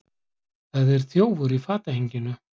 Það er þjófur í fatahenginu.